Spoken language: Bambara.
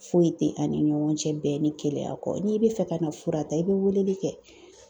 Foyi tɛ an ni ɲɔgɔn cɛ bɛɛ ni kelenya kɔ, n'i bɛ fɛ ka na fura ta i bɛ weleli kɛ.